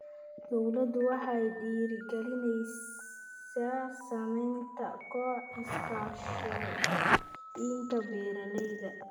Dawladdu waxay dhiirigelinaysaa samaynta kooxaha iskaashatooyinka beeralayda.